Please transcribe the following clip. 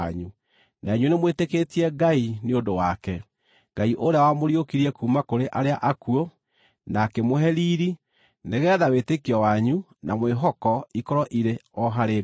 Na inyuĩ nĩmwĩtĩkĩtie Ngai nĩ ũndũ wake, Ngai ũrĩa wamũriũkirie kuuma kũrĩ arĩa akuũ na akĩmũhe riiri, nĩgeetha wĩtĩkio wanyu na mwĩhoko ikorwo irĩ o harĩ Ngai.